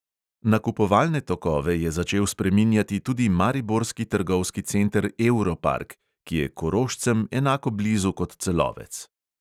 Nakupovalne tokove je začel spreminjati tudi mariborski trgovski center euro park, ki je korošcem enako blizu kot celovec.